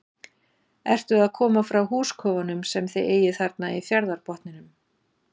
Ertu að koma frá húskofunum sem þið eigið þarna í fjarðarbotninum?